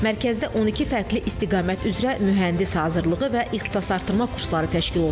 Mərkəzdə 12 fərqli istiqamət üzrə mühəndis hazırlığı və ixtisasartırma kursları təşkil olunacaq.